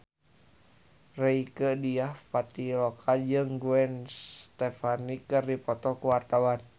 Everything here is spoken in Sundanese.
Rieke Diah Pitaloka jeung Gwen Stefani keur dipoto ku wartawan